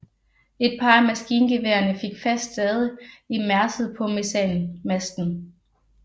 Et par af maskingeværerne fik fast stade i mærset på mesanmasten